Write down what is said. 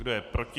Kdo je proti?